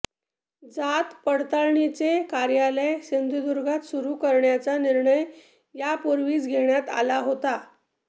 जातपडताळणीचे कार्यालय सिंधुदुर्गात सुरू करण्याचा निर्णय यापूर्वीच घेण्यात आला होता